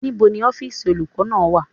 Níbo ni ọ́fìsì olùkọ́ náà wà?